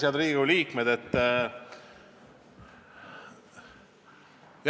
Head Riigikogu liikmed!